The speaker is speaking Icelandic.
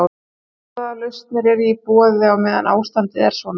En hvaða lausnir eru í boði á meðan ástandið er svona?